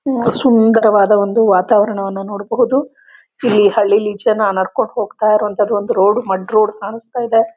ಸುಂಧರವಾಧ ಒಂದು ವಾತಾವರಣವನ ನೋಡಬಹುದು ಇಲ್ಲಿ ಹಳ್ಲಿಲೇ ಈಚೆ ನಾನ್ ನಡ್ಕೊಂಡು ಹೋಗ್ತಾಇರೋಂಥದು ಒಂದು ಮಡ್ ರೋಡ್ ಕಾಣ್ಸ್ತ ಇದೆ